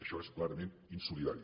això és clarament insolidari